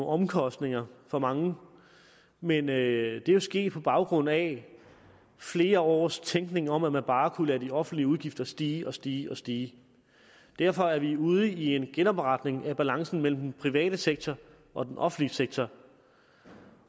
omkostninger for mange men det er jo sket på baggrund af flere års tænkning om at man bare kunne lade de offentlige udgifter stige og stige og stige derfor er vi ude i en genopretning af balancen mellem den private sektor og den offentlige sektor